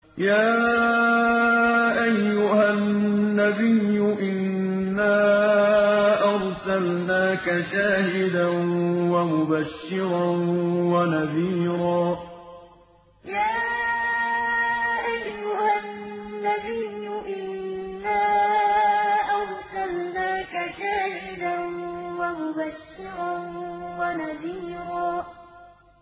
يَا أَيُّهَا النَّبِيُّ إِنَّا أَرْسَلْنَاكَ شَاهِدًا وَمُبَشِّرًا وَنَذِيرًا يَا أَيُّهَا النَّبِيُّ إِنَّا أَرْسَلْنَاكَ شَاهِدًا وَمُبَشِّرًا وَنَذِيرًا